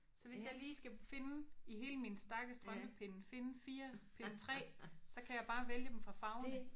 Så hvis jeg lige skal finde i hele min stak af strømpepinde finde 4 pinde 3 så kan jeg bare vælge dem fra farverne